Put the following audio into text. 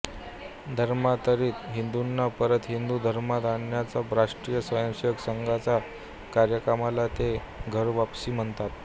धर्मांतरित हिंदूंना परत हिंदू धर्मात आणण्याच्या राष्ट्रीय स्वयंसेवक संघाच्या कार्यक्रमाला ते घरवापसी म्हणतात